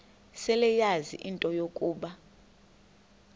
seleyazi into yokuba